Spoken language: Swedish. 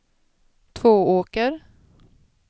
Tvååker